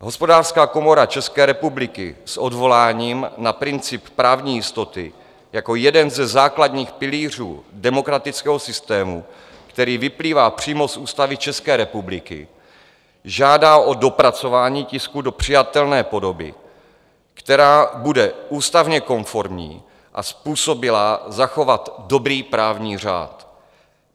Hospodářská komora České republiky s odvoláním na princip právní jistoty jako jeden ze základních pilířů demokratického systému, který vyplývá přímo z Ústavy České republiky, žádá o dopracování tisku do přijatelné podoby, která bude ústavně konformní a způsobilá zachovat dobrý právní řád.